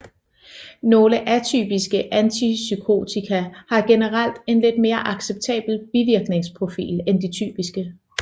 Nogle atypiske antipsykotika har generelt en lidt mere acceptabel bivirkningsprofil end de typiske